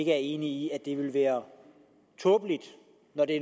ikke er enig i at det ville være tåbeligt